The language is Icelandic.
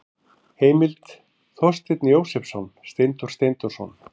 Heimild: Þorsteinn Jósepsson, Steindór Steindórsson.